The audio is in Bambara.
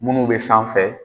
Minnu bɛ sanfɛ